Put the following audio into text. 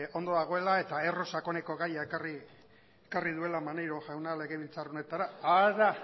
ondo dagoela eta erro sakoneko gaia ekarri duela maneiro jaunak legebiltzar honetara hara